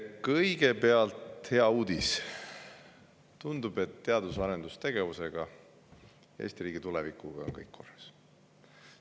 Kõigepealt hea uudis: tundub, et teadus- ja arendustegevusega ning Eesti riigi tulevikuga on kõik korras.